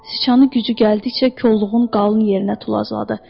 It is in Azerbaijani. Sıçanı gücü gəldikcə kolluğun qalın yerinə tulladı.